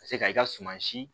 Ka se ka i ka suma si